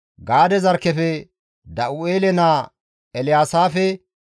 Gaade zarkkefe Da7u7eele naa Elyaasaafe,